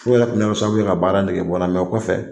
F'o yɛrɛ tun bɛna kɛ sababu ye ka baara nɛgɛbɔ n na o kɔfɛ